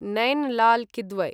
Nain Lal Kidwai